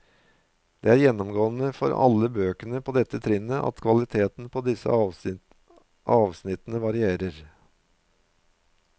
Det er gjennomgående for alle bøkene på dette trinnet at kvaliteten på disse avsnittene varierer.